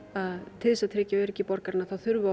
til þess að tryggja öryggi borgaranna þurfum við að